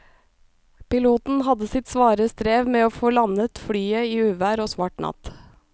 Piloten hadde sitt svare strev med å få landet flyet i uvær og svart natt.